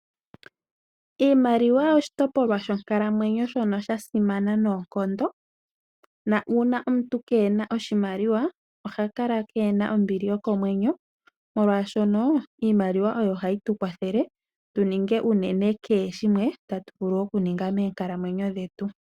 Iimaliwa oshitopolwa shonkalamwenyo shono shasimana noonkondo na uuna omuntu kena oshimaliwa oha kala kena ombili yokomwenyo ,molwaashoka iimaliwa oyo hayi tukwathele tuninge uunene keshe shimwe tatu vulu okuninga meenkalamwenyo dhetu.